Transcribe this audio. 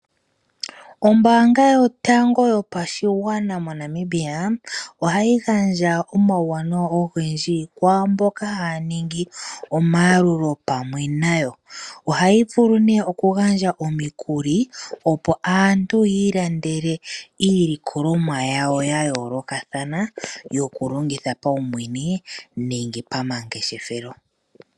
Ombanga yotango yopashigwana moNamibia ohayi gandja omauwanawa ogendji kwaamboka haya ningi omayalulo pamwe nayo. Ohayi vulu ne oku gandja omikuli opo aantu yi ilandele iilikolomwa yawo ya yolokathana yoku longitha paumwene nenge pama ngeshethelo.